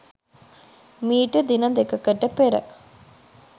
මීට දින දෙකකට පෙර